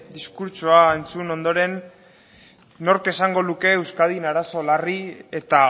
diskurtsoa entzun ondoren nork esango luke euskadin arazo larri eta